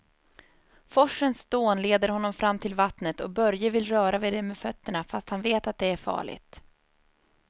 Forsens dån leder honom fram till vattnet och Börje vill röra vid det med fötterna, fast han vet att det är farligt.